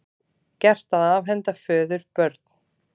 Gert að afhenda föður börn